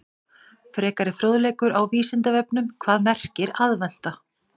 Frekari fróðleikur á Vísindavefnum: Hvað merkir aðventa?